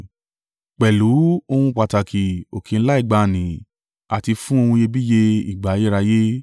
pẹ̀lú ohun pàtàkì òkè ńlá ìgbàanì àti fún ohun iyebíye ìgbà ayérayé;